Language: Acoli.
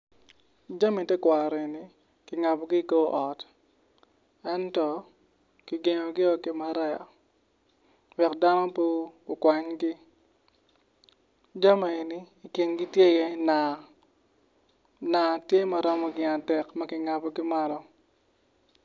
Jami tekwaro egini kingabogi i kor ot ento kigengo gi o kimaraya wek dano pe okwanygi jami enigi i kingi tye i ye naa, naa tye maromo gin adek makingabo malo.